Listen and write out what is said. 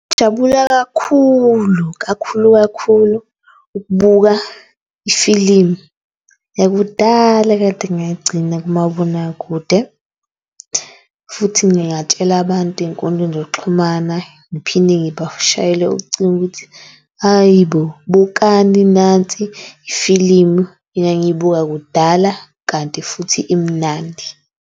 Ngingajabula kakhulu kakhulu kakhulu ukubuka ifilimu yakudala ekade ngayigcina kumabonakude. Futhi ngingatshela abantu ey'nkundleni zokuxhumana, ngiphinde ngibashayele ucingo ukuthi hayi bo bukani nansi ifilimu engangiyibuka kudala. Kanti futhi imnandi.